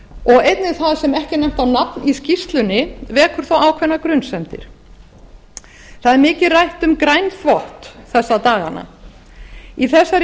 og einnig það sem ekki er nefnt á nafn í skýrslunni vekur þó ákveðnar grunsemdir það er með rætt um grænþvott þessa dagana þessar